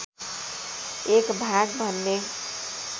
एक भाग भन्ने